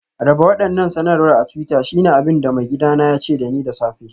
Raba waɗannan sanarwar a twitter shine abin da maigidana ya ce da ni da safe